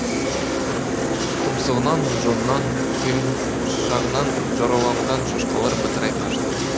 тұмсығынан жонынан құймышағынан жараланған шошқалар бытырай қашты